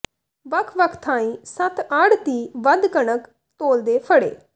ਵੱਖ ਵੱਖ ਥਾਈਂ ਸੱਤ ਆੜ੍ਹਤੀ ਵੱਧ ਕਣਕ ਤੋਲਦੇ ਫੜੇ